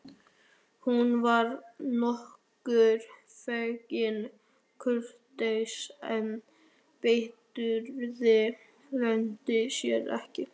Hún var nokkurn veginn kurteis en biturðin leyndi sér ekki.